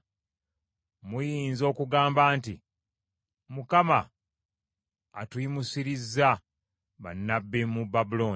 Muyinza okugamba nti, “ Mukama atuyimusirizza bannabbi mu Babulooni.”